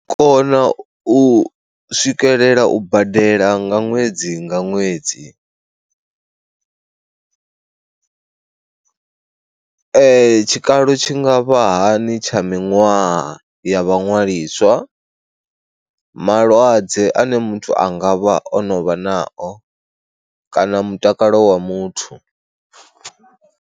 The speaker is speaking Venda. U kona u swikelela u badela nga ṅwedzi nga ṅwedzi, tshikalo tshi nga vha hani tsha miṅwaha ya vha ṅwaliswa, malwadze ane muthu a nga vha o no vha nao kana mutakalo wa muthu.